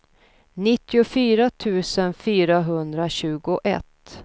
nittiofyra tusen fyrahundratjugoett